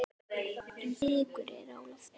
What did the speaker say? En blikur eru á lofti.